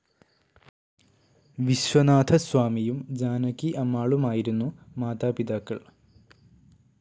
വിശ്വനാഥസ്വാമിയും ജാനകി അമ്മാളുമായിരുന്നു മാതാപിതാക്കൾ.